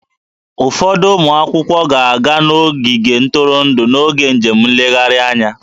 Ụfọdụ ụmụ akwụkwọ ga-aga n'ogige ntụrụndụ n'oge njem nlegharị anya